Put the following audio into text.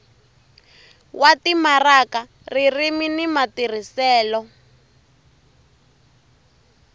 wa timaraka ririmi ni matirhiselo